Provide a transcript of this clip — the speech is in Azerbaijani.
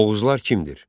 Oğuzlar kimdir?